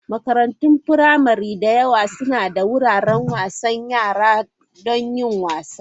Makarantun firamare da yawa suna da wuraren wasan yara don yin wasa.